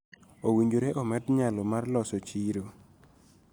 Owinjore omed nyalo mar loso chiro